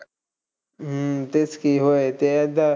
हम्म तेच की ते होय आता.